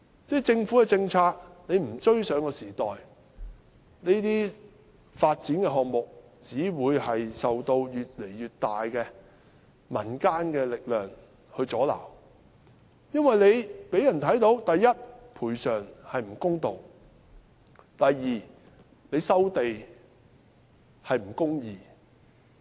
若政府的政策追不上時代，這些發展項目只會受到越來越大的民間阻撓，因為這讓人看到：第一，賠償不公道；第二，收地不公義。